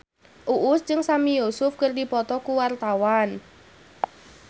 Uus jeung Sami Yusuf keur dipoto ku wartawan